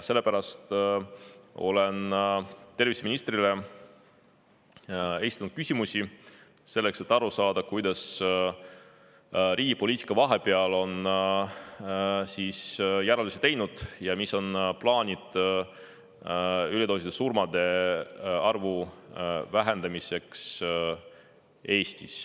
Sellepärast oleme terviseministrile esitanud küsimusi, et aru saada, kuidas riigi poliitika vahepeal on järeldusi teinud ja mis on plaanid üledoosisurmade arvu vähendamiseks Eestis.